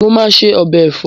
Mo máa se ọbẹ̀ ẹ̀fọ́